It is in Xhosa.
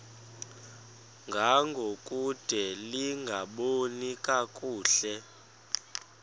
ngangokude lingaboni kakuhle